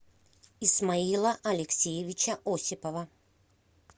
исмаила алексеевича осипова